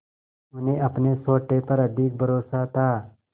उन्हें अपने सोटे पर अधिक भरोसा था